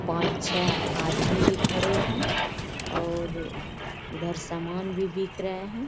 पाँच छै आदमी भी खड़े हैं और उधर सामान भी बिक रहें हैं।